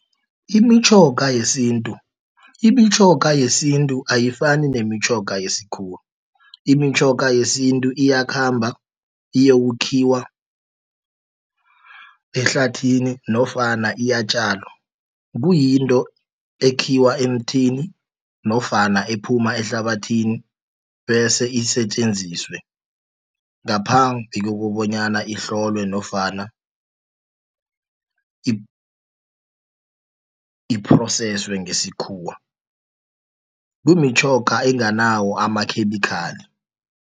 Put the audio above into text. Imitjhoga yesintu, imitjhoga yesintu ayifani nemitjhoga yesikhuwa. Imitjhoga yesintu iyakhamba iyokukhiwa ehlathini, nofana iyatjalwa. Kuyinto ekhiwa emthini, nofana ephuma ehlabathini, bese isetjenziswe, ngaphambi kokobonyana ihlolwe, nofana i-phroseswe ngesikhuwa. Kumitjhoga enganawo amakhemikhali.